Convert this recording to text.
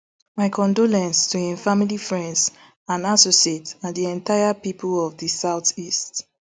my condolences to im family friends and associates and di entire pipo of di southeast